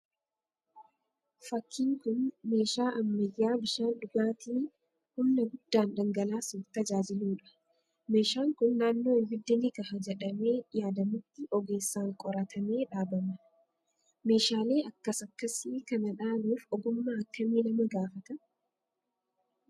Fakkiin kun meeshaa ammayyaa bishaan dhugaatii humna guddaan dhangalaasuuf tajaajiluudha. Meeshaan kun naannoo ibiddi ni kaha jedhamee yaadamutti ogeessaan qoratamee dhaabama. Meeshaalee akkas akkasii kana dhaabuuf ogummaa akkamii nama gaafata?